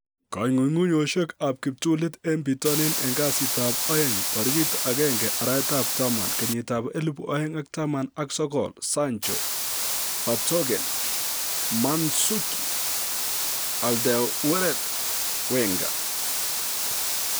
Kong'ung'unyosiek ab kiptulit en bitonin en kasitab aeng 01/10/2019: Sancho, Vertonghen, Mandzukic, Alderweireld, Wenger